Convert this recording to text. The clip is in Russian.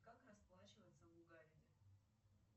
как расплачиваться в уганде